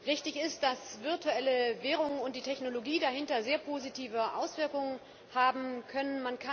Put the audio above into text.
Richtig ist, dass virtuelle Währungen und die Technologie dahinter sehr positive Auswirkungen haben können.